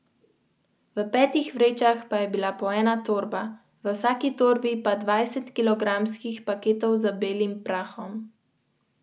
Strinjanje s pridržkom.